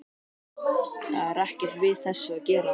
Það er ekkert við þessu að gera.